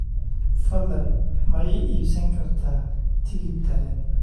fadlan ma ii iibsan kartaa tigidh tareen